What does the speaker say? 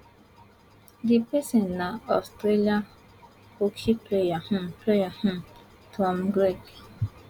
di pesin na australian hockey player um player um tom craig